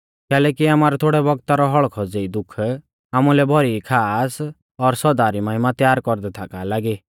कैलैकि आमारौ थोड़ै बौगता रौ हौल़्कौ ज़ेई दुःख आमुलै भौरी ई खास और सौदा री महिमा तयार कौरदै थाका लागी